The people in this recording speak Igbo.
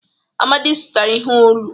Amadi zụtara ihe olu.